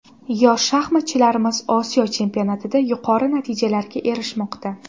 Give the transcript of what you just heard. Yosh shaxmatchilarimiz Osiyo chempionatida yuqori natijalarga erishmoqda.